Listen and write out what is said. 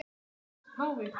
Frans páfi